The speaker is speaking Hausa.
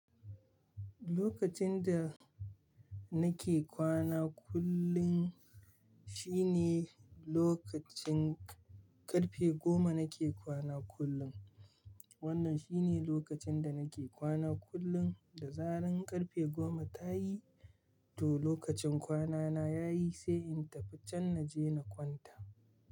Lokacin da nake kwana kullum shine lokacin ƙarfe goma nake kwana kullum. Wannan shine lokacin da nake kwana kullum, da zaran ƙarfe goma ta yi, to lokacin kwanana ya yi, sai in tafi can na je na kwanta.